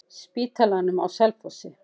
Spítalanum á Selfossi.